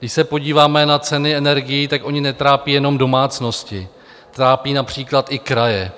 Když se podíváme na ceny energií, tak ony netrápí jenom domácnosti, trápí například i kraje.